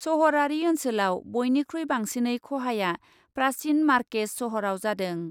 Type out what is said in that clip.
सहरारि ओनसोलाव बयनिख्रुइ बांसिनै खहाया प्राचिन मार्केच सहराव जादों ।